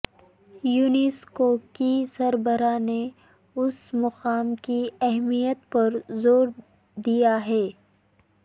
UNESCO کی سربراہ نے اس مقام کی اہمیت پر زور دیا ہے